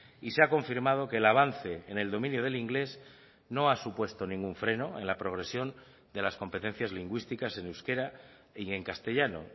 y se ha confirmado que el avance en el dominio del inglés no ha supuesto ningún freno en la progresión de las competencias lingüísticas en euskera y en castellano